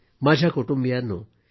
माझ्या कुटुंबियांनो